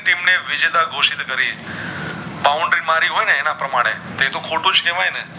Boundary મારી હોય ને એના પ્રમાણે એ તો ખોટું જ કેવાય